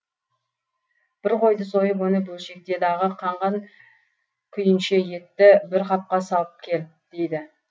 бір қойды сойып оны бөлшекте дағы қан қан күйінше етті бір қапқа салып кел дейді